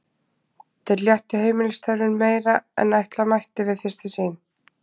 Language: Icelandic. Þeir léttu heimilisstörfin meira en ætla mætti við fyrstu sýn.